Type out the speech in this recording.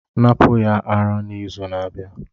Napụ ya ara n'izu na-abịa!